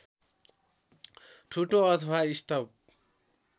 ठुटो अथवा स्टब